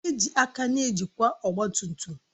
Eji aka na-ejikwa ọgba tum tum